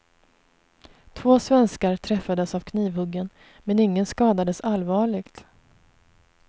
Två svenskar träffades av knivhuggen, men ingen skadades allvarligt.